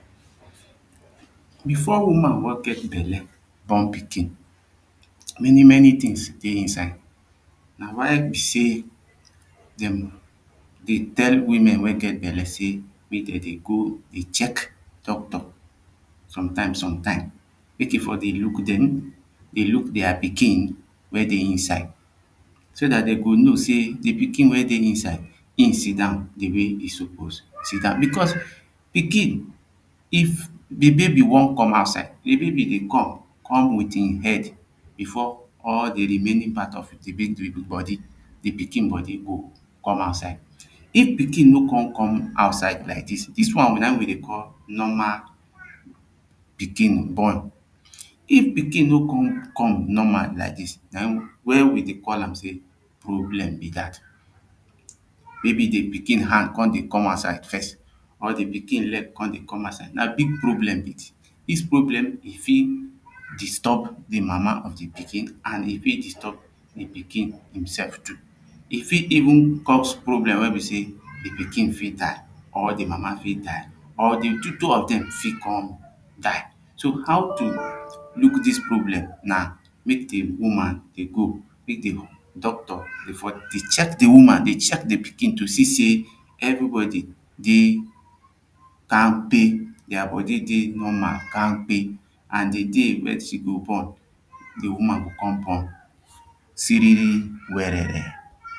before woman wan get belle born pikin many many things dey inside. na why be sey dem dey tell women wey belle say make dem dey go dey check doctor sometime sometime. make e for dey look them dey look thier pikin wey dey inside so that dey go know sey the pikin wey dey inside him sidon dey wey him suppose sidon because pikin if baby bin wan come outside the baby dey come come with him head before all the remaining part the baby body the pikin body hold come outside if pikin no come come outside like this, this one na him wey dey call normal pikin born. if pikin no come come normal like this na him when we dey call am sey problem be that may be the pikin hand come dey come outside first or the pikin leg come dey come outside na big problem. this problem e fit disturb di mama of the pikin an e fit disturb the pikin himsef too e fit even cause problem wey be sey the pikin fit die or the mama fit die or the two of them fit come die. so how to look this problem na make the woman dey go meet doctor before dey check the woman dey check the pikin to see sey everybody dey kamkpe their body dey normal kamkpe an the day wen she go born the woman go come born siriri werere